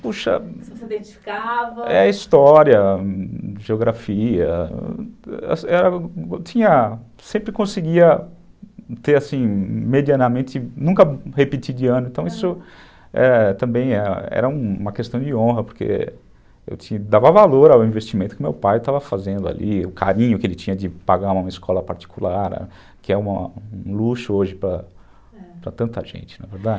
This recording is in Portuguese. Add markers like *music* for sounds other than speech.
Puxa, *unintelligible* dedicava...? é a história, geografia, eu sempre conseguia ter assim medianamente, nunca repetir de ano, então isso também era uma questão de honra, porque eu dava valor ao investimento que meu pai estava fazendo ali, o carinho que ele tinha de pagar uma escola particular, que é um luxo hoje para tanta gente, não é verdade?